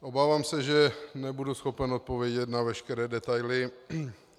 Obávám se, že nebudu schopen odpovědět na veškeré detaily.